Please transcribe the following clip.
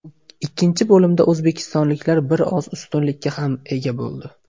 Ikkinchi bo‘limda o‘zbekistonliklar bir oz ustunlikka ham ega bo‘ldi.